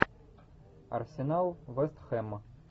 арсенал вест хэм